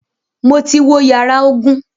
Mo ti wo yàrá ogun.